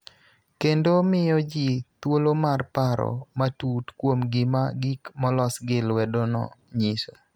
kendo miyo ji thuolo mar paro matut kuom gima gik molos gi lwedono nyiso.